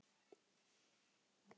Já, hann er vís.